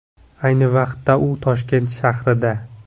Ayni vaqtda u Toshkent shahrida.